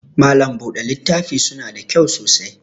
Malam buɗe littafi suna da kyau sosai